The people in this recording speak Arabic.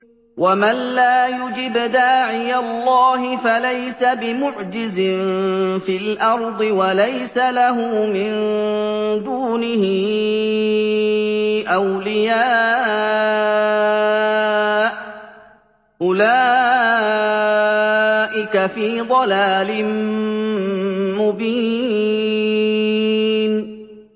وَمَن لَّا يُجِبْ دَاعِيَ اللَّهِ فَلَيْسَ بِمُعْجِزٍ فِي الْأَرْضِ وَلَيْسَ لَهُ مِن دُونِهِ أَوْلِيَاءُ ۚ أُولَٰئِكَ فِي ضَلَالٍ مُّبِينٍ